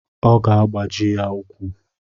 Ọ ga-agbaji ya ukwu.